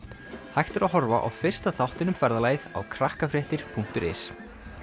hægt er að horfa á fyrsta þáttinn um ferðalagið á punktur is